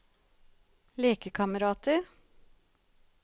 lekekamerater